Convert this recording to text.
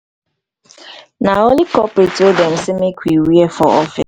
na only corporate wey dem sey make we wear for office.